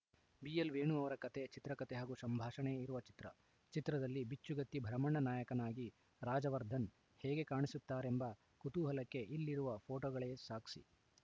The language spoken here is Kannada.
ಬಿಎಲ್‌ ವೇಣು ಅವರ ಕತೆ ಚಿತ್ರಕಥೆ ಹಾಗೂ ಸಂಭಾಷಣೆ ಇರುವ ಚಿತ್ರ ಚಿತ್ರದಲ್ಲಿ ಬಿಚ್ಚುಗತ್ತಿ ಭರಮಣ್ಣ ನಾಯಕನಾಗಿ ರಾಜ್‌ವರ್ಧನ್‌ ಹೇಗೆ ಕಾಣಿಸುತ್ತಾರೆಂಬ ಕುತೂಹಲಕ್ಕೆ ಇಲ್ಲಿರುವ ಫೋಟೋಗಳೇ ಸಾಕ್ಷಿ